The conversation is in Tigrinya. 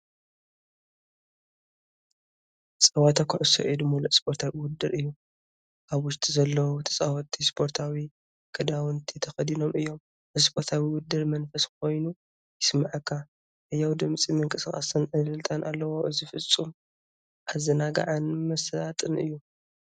ጸወታ ኩዕሶ ኢድ ምሉእ ስፖርታዊ ውድድር እዩ። ኣብ ውሽጢ ዘለዉ ተጻወትቲ ስፖርታዊ ክዳውንቲ ተኸዲኖም እዮም። እዚ ስፖርታዊ ውድድር መንፈስ ኮይኑ ይስምዓካ፣ ህያው ድምጺ ምንቅስቓስን ዕልልታን ኣለዎ። እዚ ፍጻመ ኣዘናጋዕን መሳጥን እዩ።